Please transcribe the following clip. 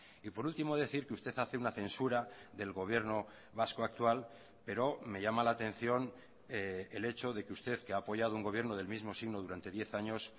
y por último decir que usted hace una censura del gobierno vasco actual pero me llama la atención el hecho de que usted que ha apoyado un gobierno del mismo signo durante diez años